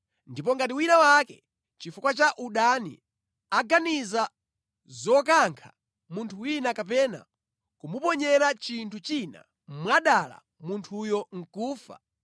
Ndipo ngati wina wake, chifukwa cha udani, aganiza zokankha munthu wina kapena kumuponyera chinthu china mwadala munthuyo nʼkufa,